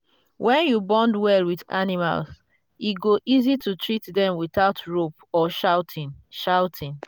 when you bond well with animals e go easy to treat them without rope or shouting. shouting.